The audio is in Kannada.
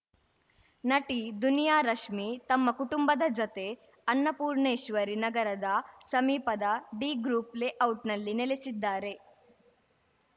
ನಟಿ ದುನಿಯಾ ರಶ್ಮಿ ತಮ್ಮ ಕುಟುಂಬದ ಜತೆ ಅನ್ನಪೂಣೇಶ್ವರಿ ನಗರದ ಸಮೀಪದ ಡಿ ಗ್ರೂಪ್‌ ಲೇಔಟ್‌ನಲ್ಲಿ ನೆಲೆಸಿದ್ದಾರೆ